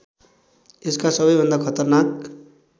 यसका सबैभन्दा खतरनाक